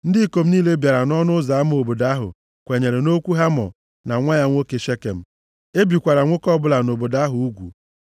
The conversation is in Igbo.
Ndị ikom niile bịara nʼọnụ ụzọ ama obodo ahụ kwenyere nʼokwu Hamọ na nwa ya nwoke Shekem. E bikwara nwoke ọbụla nọ nʼobodo ahụ ugwu.